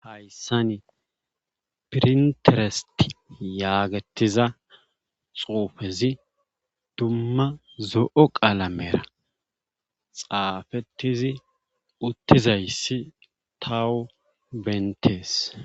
Hayssani pirinteresti yaagettiza xuufezi dumma zo7o qaalamera xaafettizi uttizayssi tawo bentees